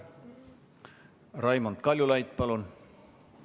Raimond Kaljulaid, palun!